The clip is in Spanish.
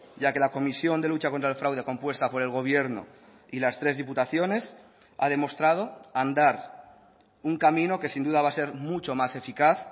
ya que la comisión de lucha contra el fraude compuesta por el gobierno y las tres diputaciones ha demostrado andar un camino que sin duda va a ser mucho más eficaz